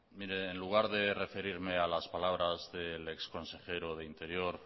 mire en lugar de referirme a las palabras del ex consejero de interior